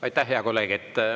Aitäh, hea kolleeg!